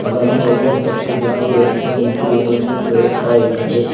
ಅದನ್ನು ಇವತಕ್ಕೂ ಜನರು ಹೆಚ್ಚೂ ನಿಂತು ಏನನ್ನು ಕೇಳುತ್ತಿದ್ದಾರೆ.